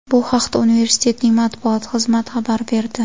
Bu haqda universitetning matbuot xizmati xabar berdi .